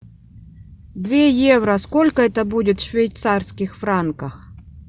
две евро сколько это будет в швейцарских франках